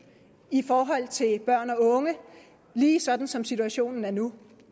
i forhold til børn og unge lige sådan som situationen er nu